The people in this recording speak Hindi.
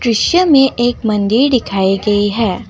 दृश्य में एक मंदिर दिखाई गई है।